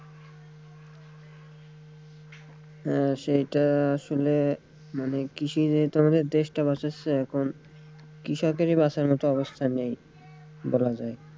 হ্যাঁ সেটা আসলে মানে কৃষিই তো আমাদের দেশটা বাঁচাচ্ছে এখন কৃষকেরই বাঁচার মতো অবস্থা নেই বলা যায়।